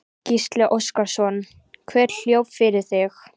Gísli Óskarsson: Hver hljóp fyrir þig?